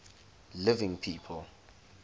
living people